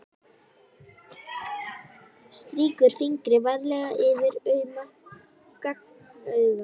Strýkur fingri varlega yfir auma gagnaugað.